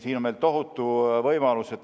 Siin on meil tohutu võimalus.